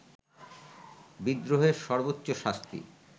বিদ্রোহের সর্বোচ্চ শাস্তি